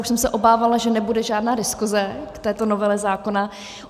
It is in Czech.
Už jsem se obávala, že nebude žádná diskuse k této novele zákona.